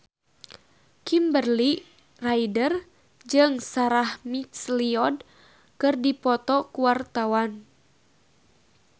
Kimberly Ryder jeung Sarah McLeod keur dipoto ku wartawan